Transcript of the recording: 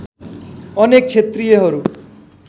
अनेक क्षेत्रियहरू